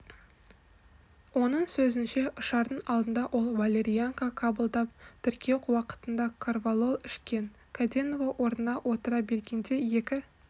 оның сөзінше ұшардың алдында ол валерьянка қабылдап тіркеу уақытында корвалол ішкен кәденова орнына отыра бергенде екі